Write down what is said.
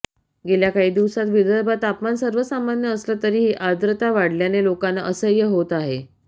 गेल्या काही दिवसांत विदर्भात तापमान सर्वसामान्य असलं तरिही आर्द्रता वाढल्याने लोकांना असह्य होत आहे